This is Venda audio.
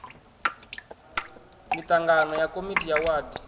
miṱangano ya komiti ya wadi